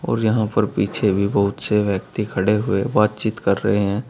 और यहां पर पीछे भी बहुत से व्यक्ति खड़े हुए बातचीत कर रहे हैं।